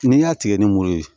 N'i y'a tigɛ ni muru ye